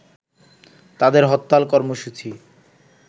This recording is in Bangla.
তাদের হরতাল কর্মসূচি